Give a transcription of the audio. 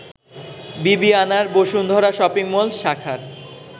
বিবিআনার Bashundhara shopping mall শাখার